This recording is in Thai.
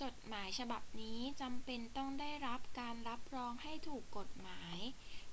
จดหมายฉบับนี้จำเป็นต้องได้รับการรับรองให้ถูกกฎหมาย